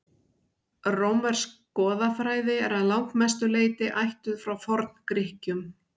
rómversk goðafræði er að langmestu leyti ættuð frá forngrikkjum